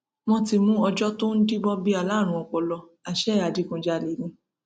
wọn ti mú ọjọ tó ń díbọn bíi aláárùn ọpọlọ àṣẹ adigunjalè ni